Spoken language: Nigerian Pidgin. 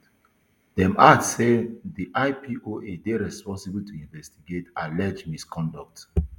dem add say di ipoa dey responsible to investigate alleged misconduct